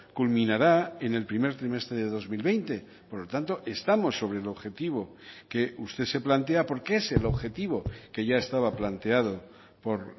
culminará en el primer trimestre de dos mil veinte por lo tanto estamos sobre el objetivo que usted se plantea porque es el objetivo que ya estaba planteado por